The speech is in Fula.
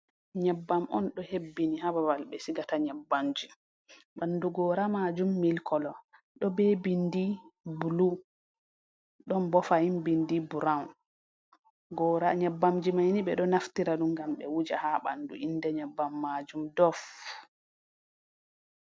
Nyebbam on ɗo hebbini ha babal be sigata nyebbamji. Banɗu gora majum mil kolo, ɗo be binɗi bulu. Ɗon bo fahim binɗi burawn. Gora nyebbamji maini be ɗo naftira fu gam be wuja ha banɗu. Inɗe nyebbam majum ɗof.